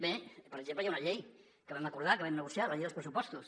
bé per exemple hi ha una llei que vam acordar que vam negociar la llei dels pressupostos